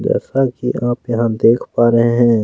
जैसा की आप यहाँ देख पा रहे हैं।